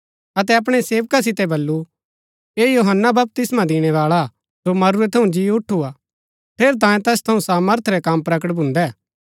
बपतिस्मा दिणैबाळै यूहन्‍नै तैस सोगी बलुरा थु कि भाई री घरावाळी जो रखणा तिजो तांयें ठीक निय्आ ता तिनी तैसिओ जेला मन्ज पाई दितुरा थू